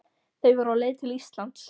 Þau voru á leið til Íslands.